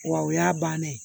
Wa o y'a bannen ye